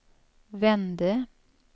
vände